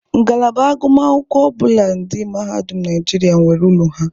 Ngalaba agụmakwụkwọ ọbụla di Mahadum Naijiria nwere ụlọ ha.